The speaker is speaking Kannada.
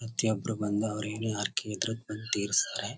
ಪ್ರತಿ ಒಬ್ರು ಬಂದು ಅವರ ಏನೆ ಹರಕೆ ಇದ್ರೂ ಬಂದು ತೀರಿಸ್ತಾರೆ.